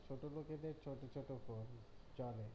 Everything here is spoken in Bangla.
ছোটো লোকদের ছোটো ছোটো phone